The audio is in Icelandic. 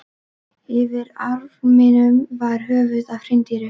Yfir arninum var höfuð af hreindýri.